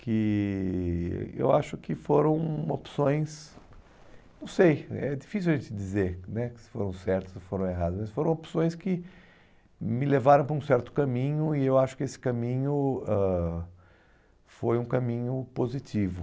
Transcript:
que eu acho que foram opções, não sei, é difícil a gente dizer né se foram certas ou se foram erradas, mas foram opções que me levaram para um certo caminho e eu acho que esse caminho ãh foi um caminho positivo.